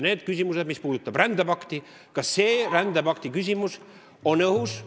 Need küsimused, mis puudutavad rändepakti, kogu see rändepakti teema on õhus.